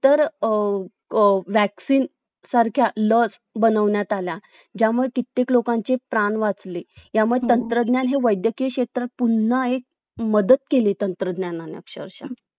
तर अं जेव्हडा जास्त तुमच ram आहे तेव्हडा जास्त तुमचं mobile smoothly चालेलना